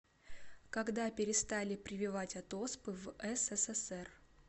когда перестали прививать от оспы в ссср